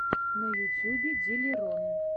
на ютьюбе диллерон